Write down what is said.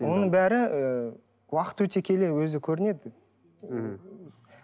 мұның бәрі ы уақыт өте келе өзі көрінеді мхм